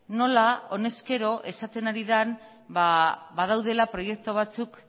nola honezkero esaten ari den badaudela proiektu batzuk